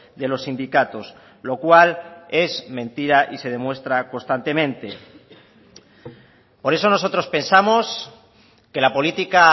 de los sindicatos lo cual es mentira y se demuestra constantemente por eso nosotros pensamos que la política